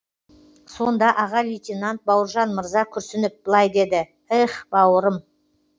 сонда аға лейтенант бауыржан мырза күрсініп былай деді эх бауырым